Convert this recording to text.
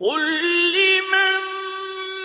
قُل لِّمَن